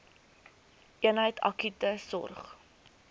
eenheid akute sorg